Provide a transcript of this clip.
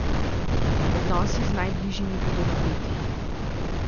Odnosi z najbližjimi bodo napeti.